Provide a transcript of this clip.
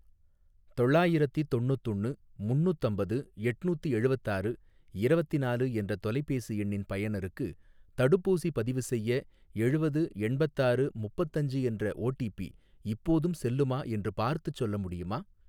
தொள்ளாயிரத்தி தொண்ணுத்தொன்னு முன்னூத்தம்பது எட்நூத்தி எழுவத்தாரு இரவத்தினாலு என்ற தொலைபேசி எண்ணின் பயனருக்கு தடுப்பூசி பதிவுசெய்ய எழுவது எண்பத்தாறு முப்பத்தஞ்சு என்ற ஓடிபி இப்போதும் செல்லுமா என்று பார்த்துச் சொல்ல முடியுமா?